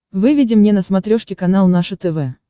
выведи мне на смотрешке канал наше тв